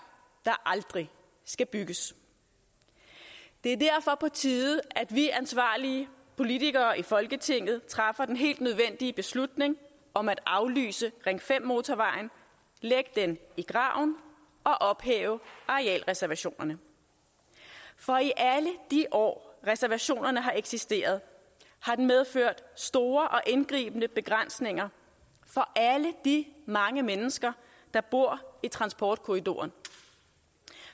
der aldrig skal bygges det er derfor på tide at vi ansvarlige politikere i folketinget træffer den helt nødvendige beslutning om at aflyse ring fem motorvejen lægge den i graven og ophæve arealreservationerne for i alle de år reservationerne har eksisteret har de medført store og indgribende begrænsninger for alle de mange mennesker der bor i transportkorridoren